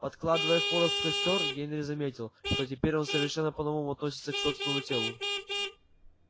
подкладывая хворост в костёр генри заметил что теперь он совершенно по новому относится к собственному телу